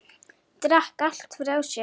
Drakk allt frá sér.